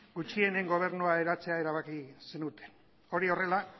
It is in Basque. gutxienen gobernua eratzea erabaki zenuten hori horrela